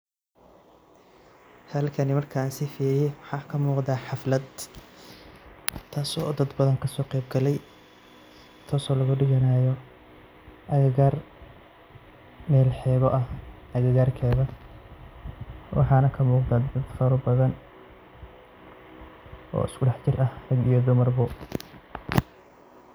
Halkani markan si fiican waxa kamuqda xaflad taso dad badan kasoqeb galay taso lagudiganayo agagar mel xeb ah agagarkeda waxana kamuqda dad fara badhan oo iskudaxjir ah rag iyo dumarbo.